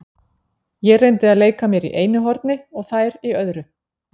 Ég reyndi að leika mér í einu horni og þær í öðru.